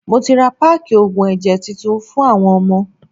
Mo ti ra páákì oògùn ẹ̀jẹ̀ titun fún àwọn ọmọ.